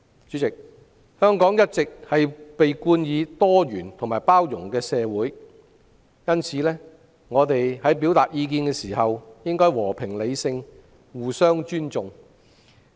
主席，香港一直被稱為多元包容的社會，我們表達意見時應和平理性，互相尊重。